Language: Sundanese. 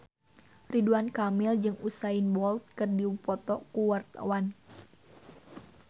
Ridwan Kamil jeung Usain Bolt keur dipoto ku wartawan